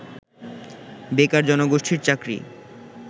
বেকার জনগোষ্ঠীর চাকরি